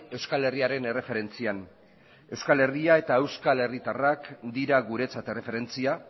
euskal herriaren erreferentzian euskal herria eta euskal herritarrak dira guretzat erreferentzia